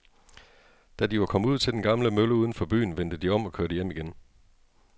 Da de var kommet ud til den gamle mølle uden for byen, vendte de om og kørte hjem igen.